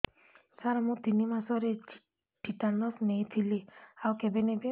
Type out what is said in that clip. ସାର ମୁ ତିନି ମାସରେ ଟିଟାନସ ନେଇଥିଲି ଆଉ କେବେ ନେବି